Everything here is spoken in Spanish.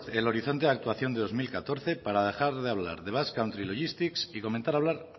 el horizonte de actuación de dos mil catorce para dejar de hablar de basque country logistic y comenzar a hablar